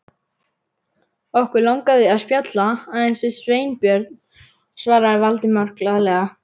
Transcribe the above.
Okkur langaði að spjalla aðeins við Sveinbjörn- svaraði Valdimar glaðlega.